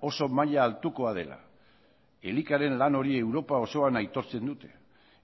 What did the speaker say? oso maila altukoa dela elikaren lan hori europa osoan aitortzen dute